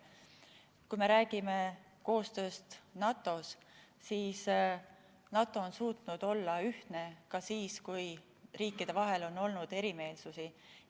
Kui me räägime koostööst NATO‑s, siis NATO on suutnud olla ühtne ka siis, kui riikide vahel on olnud erimeelsusi.